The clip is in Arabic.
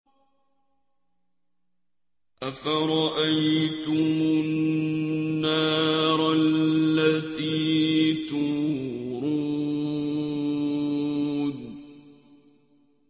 أَفَرَأَيْتُمُ النَّارَ الَّتِي تُورُونَ